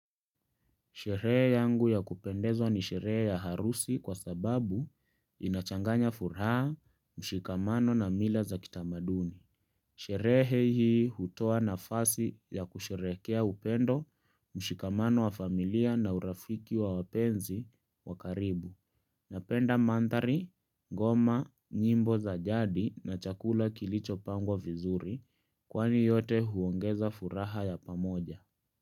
Sherehe yangu ya kupendezwa ni sherehe ya harusi kwa sababu inachanganya furaha, mshikamano na mila za kitamaduni. Sherehe hii hutoa nafasi ya kusherehekea upendo, mshikamano wa familia na urafiki wa wapenzi wa karibu. Napenda mandhari, ngoma, nyimbo za jadi na chakula kilichopangwa vizuri kwani yote huongeza furaha ya pamoja.